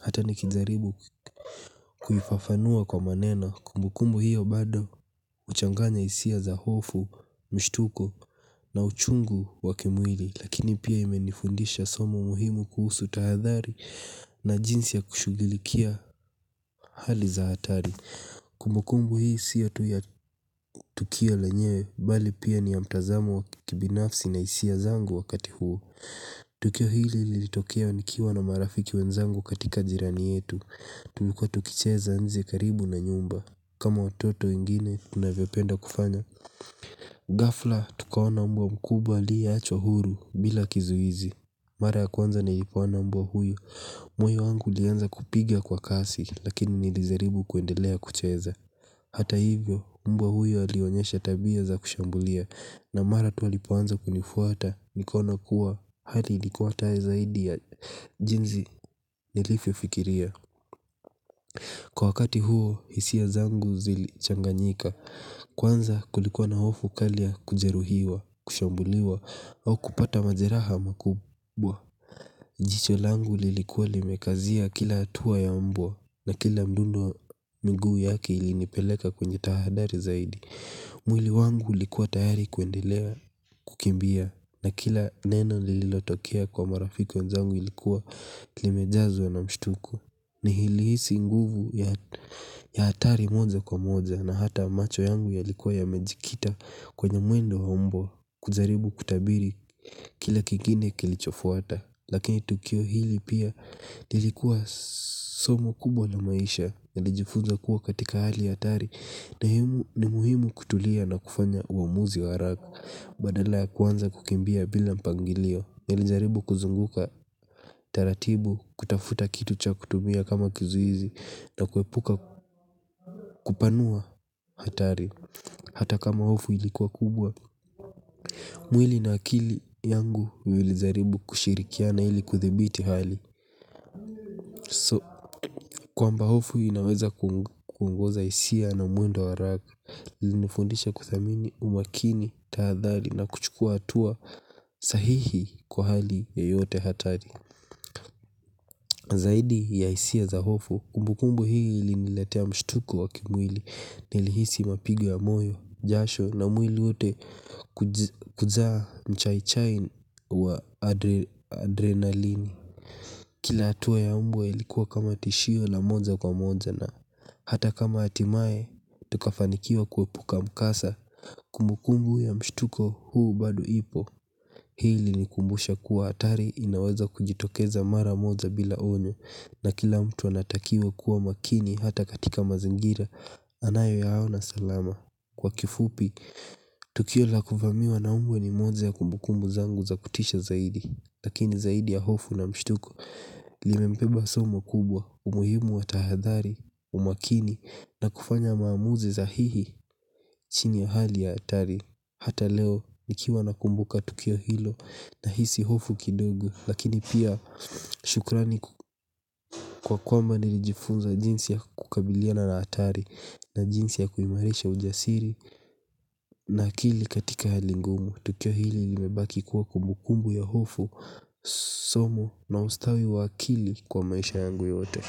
Hata ni kijaribu kuifafanua kwa maneno. Kumbukumbu hiyo bado huchanganya hisia za hofu, mshtuko na uchungu wa kimwili. Lakini pia imenifundisha somo muhimu kuhusu tahadhari na jinsi ya kushugilikia hali za hatari. Kumbukumbu hii sio tu ya tukio lenyewe bali pia ni ya mtazamo wakibinafsi na hisia zangu wakati huo. Tukio hili lilitokea nikiwa na marafiki wenzangu katika jirani yetu. Tulikua tukicheza nje karibu na nyumba. Kama watoto wengine tunavyo penda kufanya ghafla tukaona umbwa mkubwa aliye achwa huru bila kizuizi. Mara ya kwanza ni lipoona mbwa huyu. Moyo wangu ulianza kupiga kwa kasi lakini nilijaribu kuendelea kucheza. Hata hivyo, mbwa huyo alionyesha tabia za kushambulia. Na mara tu alipoanza kunifuata, nikaona kuwa hali likuwa hata zaidi ya jinsi nilivyofikiria. Kwa wakati huo, hisia zangu zili changanyika. Kwanza kulikuwa na hofu kali ya kujeruhiwa, kushambuliwa, au kupata majeraha makubwa. Jicho langu lilikuwa limekazia kila hatua ya mbwa na kila mdundo miguu yake ilinipeleka kwenye tahadhari zaidi. Mwili wangu ulikuwa tayari kuendelea kukimbia na kila neno lililotokea kwa marafi wenzangu ilikuwa limejazwa na mshtuko. Nilihisi nguvu ya hatari moja kwa moja na hata macho yangu yalikuwa ya mejikita kwenye mwendo wa mbwa kujaribu kutabiri kila kingine kilichofuata. Lakini tukio hili pia lilikuwa somo kubwa la maisha nilijifunza kuwa katika hali ya hatari. Na himu ni muhimu kutulia na kufanya uamuzi wa haraka. Badala ya kuanza kukimbia bila mpangilio nilijaribu kuzunguka taratibu kuitafuta kitu cha kutumia kama kizuizi na kuepuka kupanua hatari. Hata kama hofu ilikuwa kubwa mwili na akili yangu vilijaribu kushirikiana ili kuthibiti hali. Kwamba hofu inaweza kuongoza hisia na mwendo wa haraka. Linifundisha kudhamini umakini taadhari na kuchukua hatua sahihi kwa hali yeyote hatari. Zaidi ya hisia za hofu, kumbukumbu hii iliniletea mshtuko wa kimwili. Nilihisi mapigo ya moyo, jasho na mwili wote kujaa mchaichai wa adrenalini. Kila hatua ya mbwa ilikuwa kama tishio la moja kwa moja na hata kama hatimaye tukafanikiwa kuepuka mkasa kumbukumbu ya mshtuko huu bado ipo. Hii ilinikumbusha kuwa hatari inaweza kujitokeza mara moja bila onyo na kila mtu anatakiwa kuwa makini hata katika mazingira anayo yaona salama. Kwa kifupi, tukio la kuvamiwa na umbwa ni moja ya kumbukumbu zangu za kutisha zaidi. Lakini zaidi ya hofu na mshtuko limembeba somo kubwa umuhimu wa tahadhari umakini na kufanya maamuzi za hihi chini ya hali ya hatari. Hata leo ni kiwa nakumbuka tukio hilo na hisi hofu kidogo. Lakini pia shukrani kwa kwamba nilijifunza jinsi ya kukabiliana na hatari na jinsi ya kuimarisha ujasiri. Na akili katika halingumu tukio hili limebaki kuwa kumbukumbu ya hofu. Somu na ustawi wa akili kwa maisha yangu yote.